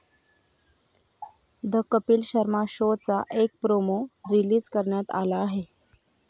The Kapil Sharma शोचा एक promo release करण्यात आला आहे.